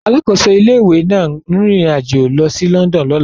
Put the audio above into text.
Alákòóso ilé-ìwé náà ń rin ìrìn àjò lọ sí London lọ́la.